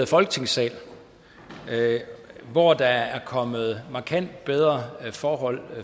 folketingssal hvor der er kommet markant bedre forhold